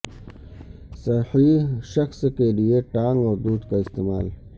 صحیح شخص کے لئے ٹانک اور دودھ کا استعمال